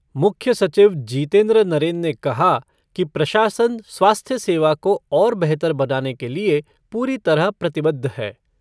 मुख्य सचिव जीतेन्द्र नरेन ने कहा कि प्रशासन स्वास्थ्य सेवा को और बेहतर बनाने के लिए पूरी तरह प्रतिबद्ध है।